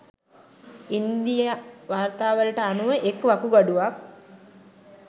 ඉන්දීය වාර්තාවලට අනුව එක් වකුගඩුවක්